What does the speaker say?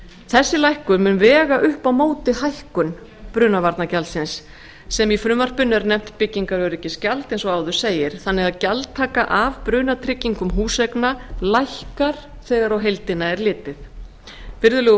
þessi lækkun mun vega upp á móti hækkun brunavarnagjaldsins sem í frumvarpinu er nefnt byggingaröryggisgjald eins og áður segir þannig að gjaldtaka af brunatryggingum húseigna lækkar þegar á heildina er litið virðulegi